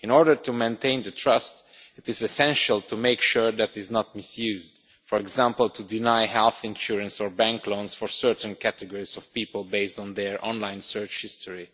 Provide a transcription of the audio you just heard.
In order to maintain trust, it is essential to make sure that it is not misused, for example to deny health insurance or bank loans for certain categories of people based on their online search history.